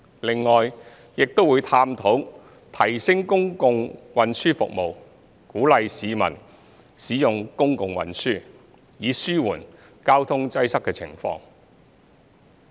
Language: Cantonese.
另外，亦會探討提升公共運輸服務，鼓勵市民使用公共運輸，以紓緩交通擠塞的情況。